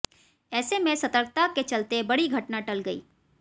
ऐसे में सतर्कता के चलते बड़ी घटना टल गई